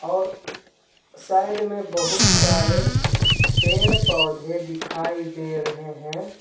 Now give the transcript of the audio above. और साइड मे बोहोत सारे पेड़ पौधे दिखाई दे रहे हे.